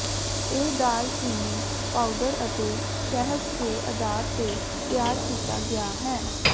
ਇਹ ਦਾਲਚੀਨੀ ਪਾਊਡਰ ਅਤੇ ਸ਼ਹਿਦ ਦੇ ਆਧਾਰ ਤੇ ਤਿਆਰ ਕੀਤਾ ਗਿਆ ਹੈ